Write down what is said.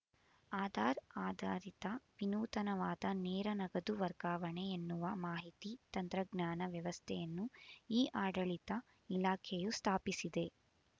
ಆಧಾರ್ ಆಧಾರಿತ ವಿನೂನತವಾದ ನೇರ ನಗದು ವರ್ಗಾವಣೆ ಎನ್ನುವ ಮಾಹಿತಿ ತಂತ್ರಜ್ಞಾನ ವ್ಯವಸ್ಥೆಯನ್ನು ಇಆಡಳಿತ ಇಲಾಖೆಯು ಸ್ಥಾಪಿಸಿದೆ